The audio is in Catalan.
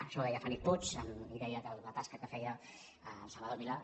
això ho deia felip puig i deia que la tasca que feia salvador milà